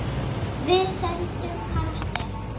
Við sýndum karakter.